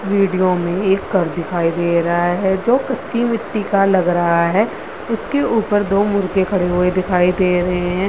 Video में एक घर दिखाई दे रहा है जो कच्ची मिट्टी का लग रहा है उसके ऊपर दो मुर्गे खड़े हुए दिखाई दे रहे है ।